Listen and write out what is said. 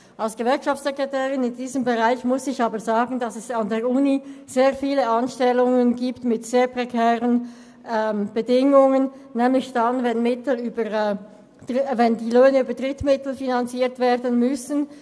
Als Gewerkschaftssekretärin in diesem Bereich muss ich aber sagen, dass es an der Universität viele Anstellungen zu sehr prekären Bedingungen gibt, nämlich dann, wenn die Löhne über Drittmittel finanziert werden müssen.